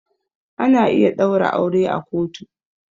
Ana iya ɗaura aure a kotu.